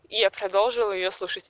и я продолжил её слушать